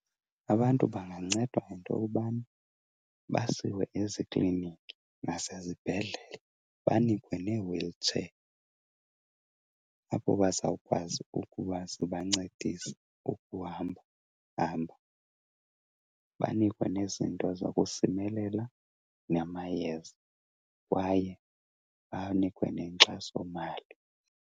Abantu bangancedwa yinto yobana basiwe ezikliniki nasezibhedlele banikwe nee-wheelchair, apho bazawukwazi ukuba zibancedise ukuhambahamba. Banikwe nezinto zokusimelela namayeza kwaye banikwe nenkxasomali.